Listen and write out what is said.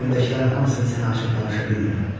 Ürəyimdəkilərin hamısını sənə açıb danışa bilmirəm.